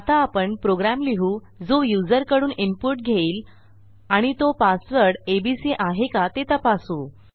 आता आपण प्रोग्रॅम लिहू जो युजरकडून इनपुट घेईल आणि तो पासवर्ड एबीसी आहे का ते तपासू